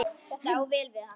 Þetta á vel við hann.